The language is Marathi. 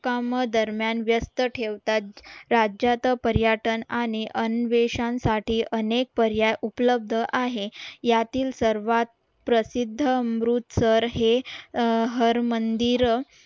कामदरम्यान व्यस्त ठेवतात राज्यात पर्यटन आणि अन्वेषण साठी अनेक पर्याय उपलब्ध आहे यातील सर्वात प्रसिद्ध अमृतसर हे हर मंदिर